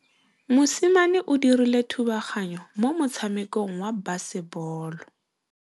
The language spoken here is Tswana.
Mosimane o dirile thubaganyô mo motshamekong wa basebôlô.